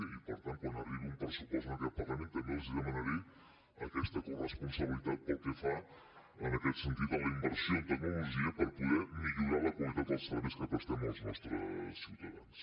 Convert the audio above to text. i per tant quan arribi un pressupost en aquest parlament també els demanaré aquesta corresponsabilitat pel que fa en aquest sentit a la inversió en tecnologia per poder millorar la qualitat dels serveis que prestem als nostres ciutadans